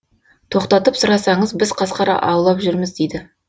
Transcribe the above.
тоқтатып сұрасаңыз біз қасқыр аулап жүрміз дейді